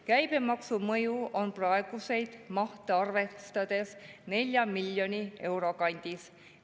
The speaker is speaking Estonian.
Käibemaksu mõju on praeguseid mahte arvestades 4 miljoni euro kandis.